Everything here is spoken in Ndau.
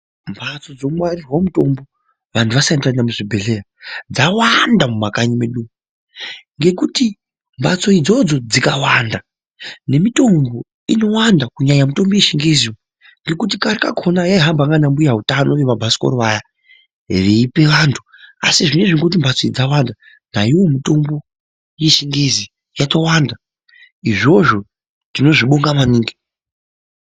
Mbatso dzino ngwarirwe mutombo vantu vasati vaenda mu zvibhedhleya dzawanda mu makanyi mwedu ngekuti mbatso idzodzo dzikawanda ne mitombo inowanda kunyanya mitombo ye chingezi ngekuti kare kakona yai hamba nana mbuya utano we mabhasikoro vaya veipe vantu asi zvinezvi ngekuti mbatso idzi dzawanda naiyo mitombo ye chingezi yato wanda izvozvo tino zvibonga maningi.